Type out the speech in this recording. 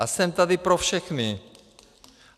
A jsem tady pro všechny!